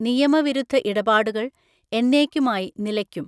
നിയമവിരുദ്ധ ഇടപാടുകൾ എന്നേയ്ക്കുമായി നിലയ്ക്കും.